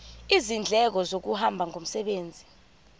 izindleko zokuhamba ngomsebenzi